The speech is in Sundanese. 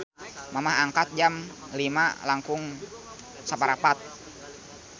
Mamah angkat Jam 05.15